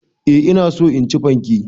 Eh ina so in ci fanke.